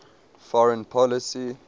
foreign policy